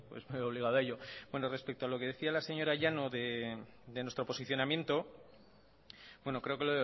pues me veo obligado a ello bueno respecto a lo que decía la señora llanos de nuestro posicionamiento bueno creo que